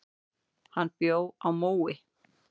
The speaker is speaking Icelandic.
Hann bjó á Mói.